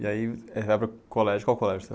E aí colégio, qual colégio